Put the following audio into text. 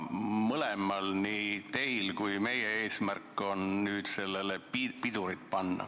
Mõlemal, nii teil kui meil on eesmärk nüüd sellele pidurit panna.